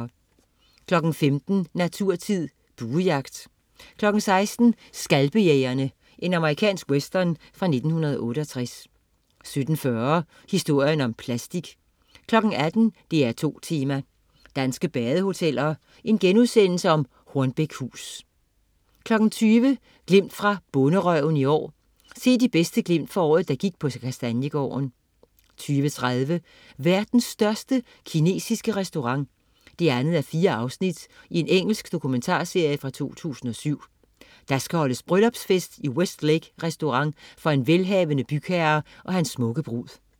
15.00 Naturtid. Buejagt 16.00 Skalpejægerne. Amerikansk western fra 1968 17.40 Historien om plastik 18.00 DR2 Tema: Danske badehoteller. Hornbækhus* 20.00 Glimt fra Bonderøven i år. Se de bedste glimt fra året, der gik på Kastaniegården 20.30 Verdens største kinesiske restaurant 2:4. Engelsk dokumentarserie fra 2007. Der skal holdes bryllupsfest i West Lake restaurant for en velhavende bygherre og hans smukke brud